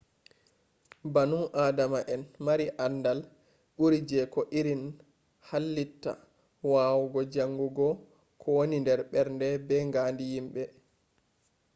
banu adama en maari aandal ɓu’ri je ko irin hallitta wawugo jaangugo ko woni ɓernde be ngaandi yimbe